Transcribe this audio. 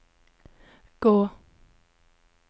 gå